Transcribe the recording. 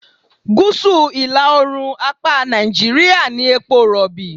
Gúsù ìlà-oòrùn apá Nàìjíríà ní epo Rọ̀bì.